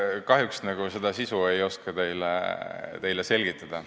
Kahjuks seda sisu ei oska ma teile selgitada.